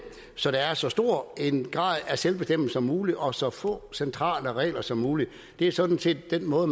så der er så stor en grad af selvbestemmelse som muligt og så få centrale regler som muligt det er sådan set den måde